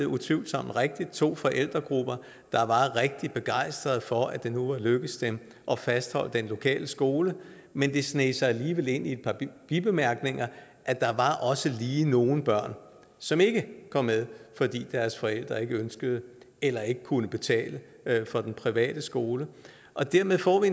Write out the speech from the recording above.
utvivlsomt rigtigt fremstillede to forældregrupper der var rigtig begejstrede for at det nu var lykkedes dem at fastholde den lokale skole men det sneg sig alligevel ind i et par bibemærkninger at der også lige var nogle børn som ikke kom med fordi deres forældre ikke ønskede det eller ikke kunne betale for den private skole og dermed får vi